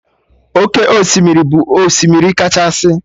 Oke osimiri bụ osimiri kachasị